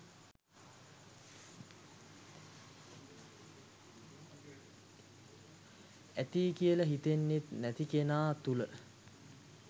ඇති කියල සිතෙන්නේ නැති කෙනා තුළ